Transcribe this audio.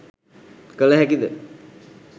කළ හැකි ද?